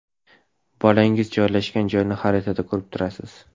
Bolangiz joylashgan joyni xaritada ko‘rib turasiz!